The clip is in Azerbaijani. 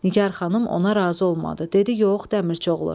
Nigar xanım ona razı olmadı, dedi: "Yox, Dəmirçioğlu.